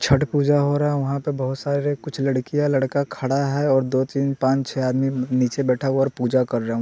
छठ पूजा हो रहा है वहाँ पर बहुत सारे कुछ लड़कियां लड़का खड़ा है और दो तीन पांच छह आदमी नीचे बैठा हुआ और पूजा कर रहा है।